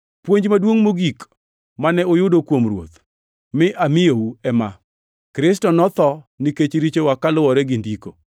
Puonj maduongʼ mogik mane ayudo kuom Ruoth mi amiyou ema: Kristo notho nikech richowa kaluwore gi Ndiko,